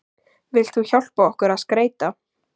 Vilt þú hjálpa okkur að skreyta?